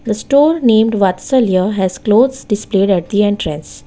The store named vatsalya has closed displayed at the entrance.